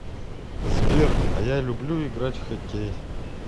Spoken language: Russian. сбер а я люблю играть в хоккей